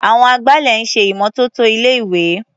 Àwọn agbálẹ̀ ń ṣè ìmọ́tótó ilé-ìwé.